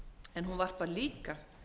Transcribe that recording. en hún varpar líka